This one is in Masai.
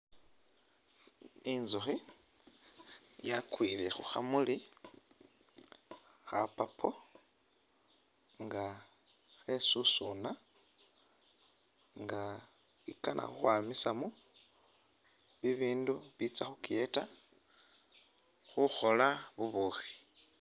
Inzukhi yakwile khukhamuli kha purple nga khesusuna nga i'kana khukhwamisamo bibindu bitsa khukiyeta khukhoola bubukhi